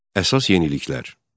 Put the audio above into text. Əsas yeniliklər.